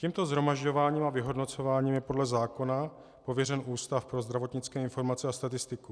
Tímto shromažďováním a vyhodnocováním je podle zákona pověřen Ústav pro zdravotnické informace a statistiku.